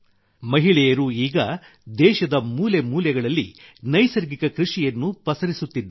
ಮಹಿಳೆಯರು ಈಗ ದೇಶದ ಮೂಲೆ ಮೂಲೆಗಳಲ್ಲಿ ನೈಸರ್ಗಿಕ ಕೃಷಿಯನ್ನು ಪಸರಿಸುತ್ತಿದ್ದಾರೆ